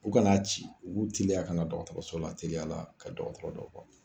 U kan'a ci u b'u teliya ka na dɔgɔtɔrɔso la teliya la ka dɔgɔtɔrɔ dɔ